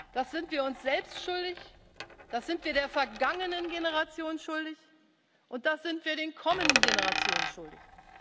vertun. Das sind wir uns selbst schuldig, das sind wir der vergangenen Generation schuldig, und das sind wir den kommenden Generationen schuldig.